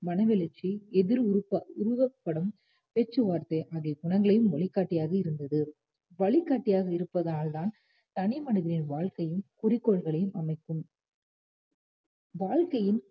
மனவெழுச்சி எதிர் உருப்~ உருவப்படம் பேச்சுவார்த்தை ஆகிய குணங்களின் வழிகாட்டியாக இருந்தது வழிகாட்டியாக இருப்பதால் தான் தனிமனிதனின் வாழ்க்கையும் குறிக்கோள்களையும் அமைக்கும் வாழ்கையில்